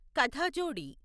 కథాజోడి